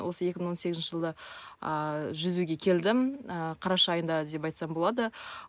осы екі мың он сегізінші жылы ааа жүзуге келдім ы қараша айында деп айтсам болады